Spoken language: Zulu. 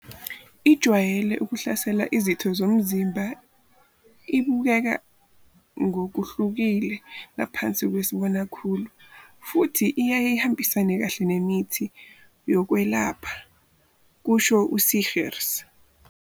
Ijwayele ukuhlasela izitho zomzimba, ibukeka ngokuhlukile ngaphansi kwesibonakhulu futhi iyaye ihambisane kahle nemithi yokwelapha, kusho u-Seegers.